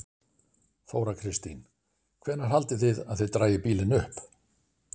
Þóra Kristín: Hvenær haldið þið að þið dragið bílinn upp?